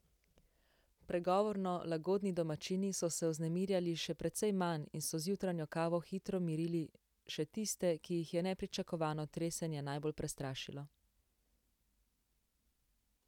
Pregovorno lagodni domačini so se vznemirjali še precej manj in so z jutranjo kavo hitro mirili še tiste, ki jih je nepričakovano tresenje najbolj prestrašilo.